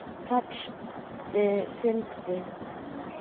Texti fylgdi.